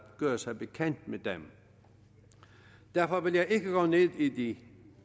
gøre sig bekendt med dem og derfor vil jeg ikke gå ned i de